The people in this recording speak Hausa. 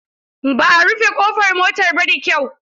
Ba a rufe kofar motar ba da kyau.